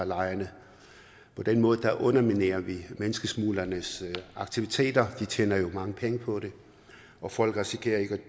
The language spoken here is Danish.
lejrene på den måde underminerer vi menneskesmuglernes aktiviteter de tjener jo mange penge på det og folk risikerer ikke at